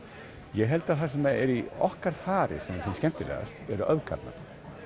ég held að það sem er í okkar fari sem er skemmtilegast eru öfgarnar